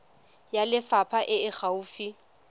ya lefapha e e gaufi